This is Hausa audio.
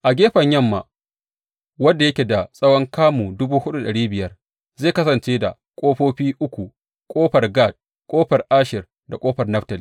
A gefen yamma, wanda yake da tsawon kamun dubu hudu da dari biyar, zai kasance da ƙofofi uku, ƙofar Gad, ƙofar Asher da kuma ƙofar Naftali.